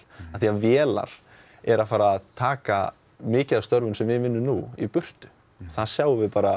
vélar eru að fara að taka mikið af störfum sem við vinnum nú í burtu það sjáum við bara